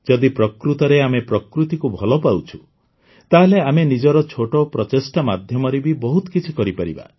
ଯଦି ପ୍ରକୃତରେ ଆମେ ପ୍ରକୃତିକୁ ଭଲ ପାଉଁଛୁ ତାହେଲେ ଆମେ ନିଜର ଛୋଟ ପ୍ରଚେଷ୍ଟା ମାଧ୍ୟମରେ ବି ବହୁତ କିଛି କରିପାରିବା